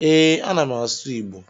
E, ana m asụ Igbo